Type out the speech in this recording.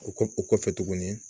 O kɔ o kɔfɛ tuguni